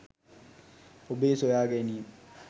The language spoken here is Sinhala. ඔබේ සොයා ගැනීම්